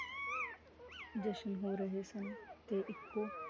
ਜਸ਼ਨ ਹੋ ਰਹੇ ਸਨ, ਤੇ ਇਕੋ